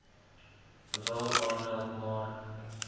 wil aanmeld maar